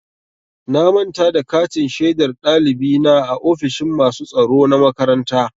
Na manta da katin shaidar ɗalibi na a ofishin masu tsaro na makaranta.